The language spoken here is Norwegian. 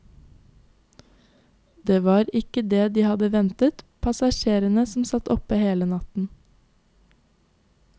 Det var ikke det de hadde ventet, passasjerene som satt oppe i hele natt.